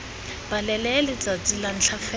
balele letsatsi la ntlha fela